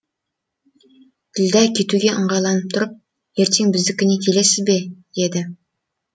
ділдә кетуге ыңғайланып тұрып ертең біздікіне келесіз бе деді